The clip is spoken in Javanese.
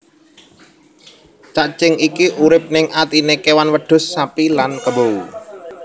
Cacing iki urip ning atiné kewan wedhus sapi lan kebo